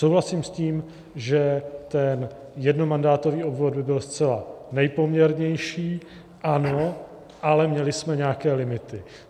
Souhlasím s tím, že ten jednomandátový obvod by byl zcela nejpoměrnější, ano, ale měli jsme nějaké limity.